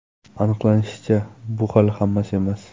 Aniqlanishicha, bu hali hammasi emas.